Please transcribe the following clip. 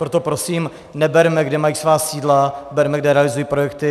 Proto prosím, neberme, kde mají svá sídla, berme, kde realizují projekty.